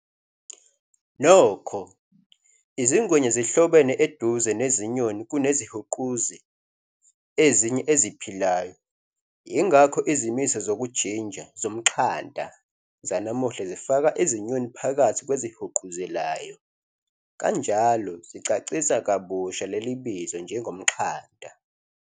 Nokho, izingwenya zihlobene eduze nezinyoni kunezihuquzi ezinye eziphilayo, ingakho izimiso zokujinja "zomxhanta" zanamuhla zifaka izinyoni phakathi kwezihuquzelayo, kanjalo zichasisa kabusha leli bizo njengomxhanta.